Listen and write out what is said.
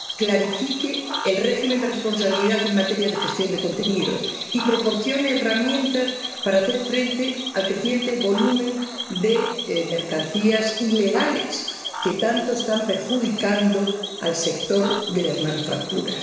clarifique el régimen de responsabilidad en materia de gestión de contenidos y proporcione herramientas para hacer frente al creciente volumen de mercancías ilegales, que tanto están perjudicando al sector de las manufacturas.